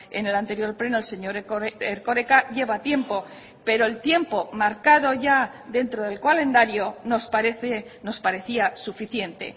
en el anterior pleno el señor erkoreka lleva tiempo pero el tiempo marcado ya dentro del calendario nos parece nos parecía suficiente